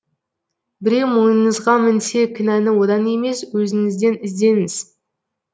біреу мойныңызға мінсе кінәні одан емес өзіңізден іздеңіз